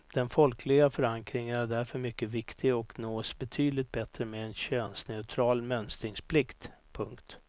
Den folkliga förankringen är därför mycket viktig och nås betydligt bättre med en könsneutral mönstringsplikt. punkt